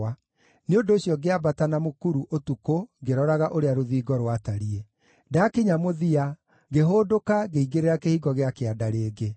nĩ ũndũ ũcio ngĩambata na mũkuru ũtukũ ngĩroraga ũrĩa rũthingo rwatariĩ. Ndakinya mũthia, ngĩhũndũka ngĩingĩrĩra Kĩhingo gĩa Kĩanda rĩngĩ.